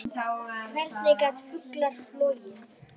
Hvernig geta fuglar flogið?